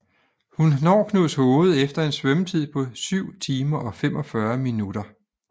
Hun når Knudshoved efter en svømmetid på 7 timer og 45 min